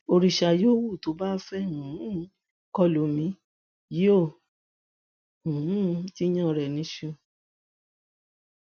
òrìṣà yòówù tó bá fẹẹ um kọ lù mí yóò um jiyàn rẹ níṣu